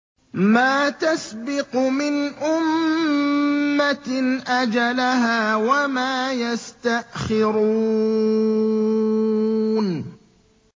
مَّا تَسْبِقُ مِنْ أُمَّةٍ أَجَلَهَا وَمَا يَسْتَأْخِرُونَ